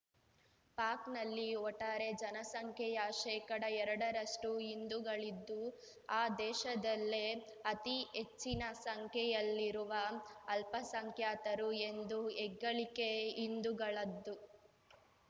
ಪಾಕ್‌ನಲ್ಲಿ ಒಟ್ಟಾರೆ ಜನಸಂಖ್ಯೆಯ ಶೇಕಡಎರಡರಷ್ಟುಹಿಂದೂಗಳಿದ್ದು ಆ ದೇಶದಲ್ಲೇ ಅತಿ ಹೆಚ್ಚಿನ ಸಂಖ್ಯೆಯಲ್ಲಿರುವ ಅಲ್ಪಸಂಖ್ಯಾತರು ಎಂದು ಹೆಗ್ಗಳಿಕೆ ಹಿಂದೂಗಳದ್ದು